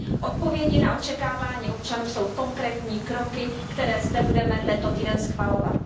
Odpovědí na očekávání občanů jsou konkrétní kroky, které zde budeme tento týden schvalovat.